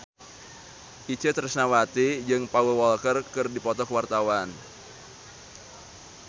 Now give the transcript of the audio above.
Itje Tresnawati jeung Paul Walker keur dipoto ku wartawan